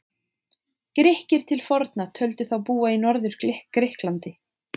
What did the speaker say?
Grikkir til forna töldu þá búa í Norður-Grikklandi.